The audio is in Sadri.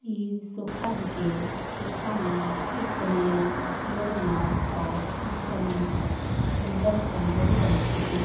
ई सोफा ही के सोफा नू यू कोणाई बेड नर और एक दम सुन्दर कोणाई बंच किरी।